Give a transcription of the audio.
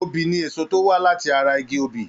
Obi ni èso tó wá láti ara igi obì.